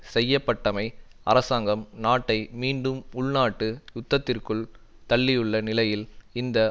செய்ய பட்டமை அரசாங்கம் நாட்டை மீண்டும் உள்நாட்டு யுத்தத்திற்குள் தள்ளியுள்ள நிலையில் இந்த